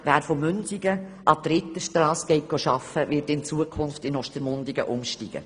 Wer von Münsingen an die Reiterstrasse gelangen will, steigt in Zukunft in Ostermundigen um.